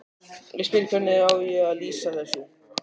Ég spyr: Hvernig á ég að lýsa þessu?